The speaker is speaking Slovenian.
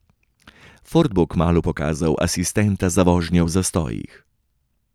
Ford bo kmalu pokazal asistenta za vožnjo v zastojih.